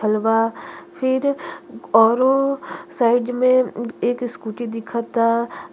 हलवा फिर ओरो साइड में एक स्कूटी दिखता। --